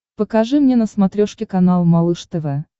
покажи мне на смотрешке канал малыш тв